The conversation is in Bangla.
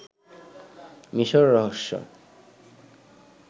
মিশর রহস্য